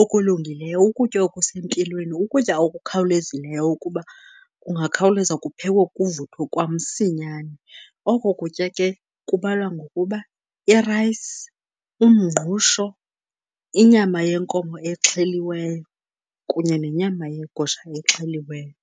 okulungileyo, ukutya okusempilweni, ukutya okukhawulezileyo kuba kungakhawuleza kuphekwe kuvuthwe kwamsinyani. Oko kutya ke kubalwa ngokuba i-rice, umngqusho, inyama yenkomo exheliweyo kunye nenyama yegusha exheliweyo.